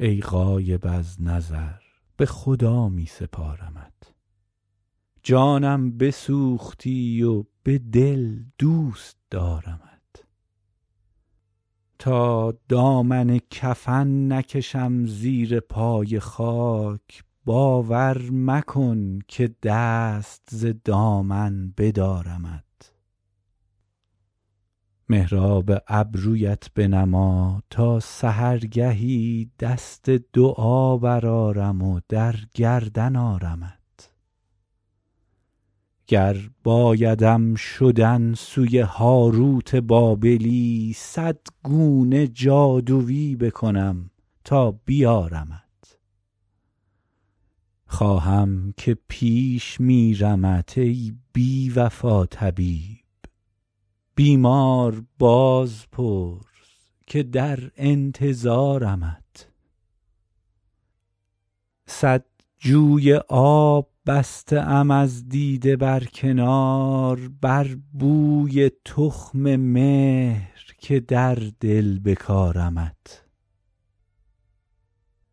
ای غایب از نظر به خدا می سپارمت جانم بسوختی و به دل دوست دارمت تا دامن کفن نکشم زیر پای خاک باور مکن که دست ز دامن بدارمت محراب ابرویت بنما تا سحرگهی دست دعا برآرم و در گردن آرمت گر بایدم شدن سوی هاروت بابلی صد گونه جادویی بکنم تا بیارمت خواهم که پیش میرمت ای بی وفا طبیب بیمار باز پرس که در انتظارمت صد جوی آب بسته ام از دیده بر کنار بر بوی تخم مهر که در دل بکارمت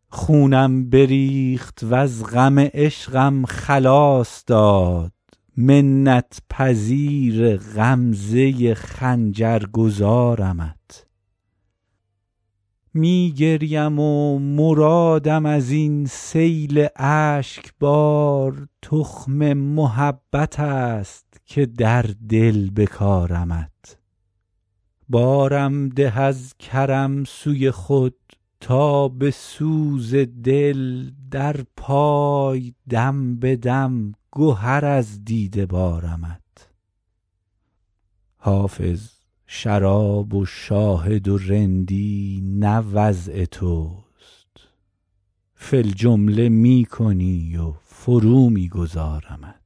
خونم بریخت وز غم عشقم خلاص داد منت پذیر غمزه خنجر گذارمت می گریم و مرادم از این سیل اشک بار تخم محبت است که در دل بکارمت بارم ده از کرم سوی خود تا به سوز دل در پای دم به دم گهر از دیده بارمت حافظ شراب و شاهد و رندی نه وضع توست فی الجمله می کنی و فرو می گذارمت